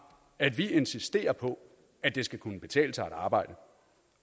at vi insisterer på at det skal kunne betale sig at arbejde